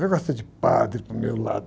Vem com essa de padre para o meu lado.